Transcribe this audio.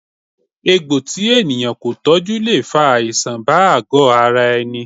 Egbò tí ènìyàn kò tọjú le fa àìsàn bá àgo ara ẹni